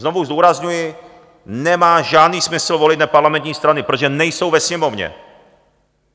Znovu zdůrazňuji, nemá žádný smysl volit neparlamentní strany, protože nejsou ve Sněmovně.